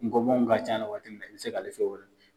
Ngɔbɔnw ka can a la waati min na i bɛ se k'ale fiyɛ